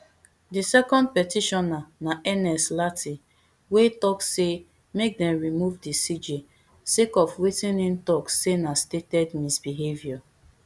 di second petitioner na ernest lartey wey tok say make dem remove di cj sake of wetin im tok say na stated misbehaviour